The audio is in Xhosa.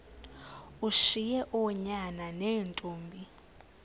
ushiye oonyana neentombi